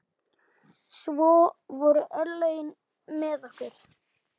Svo voru örlögin með okkur.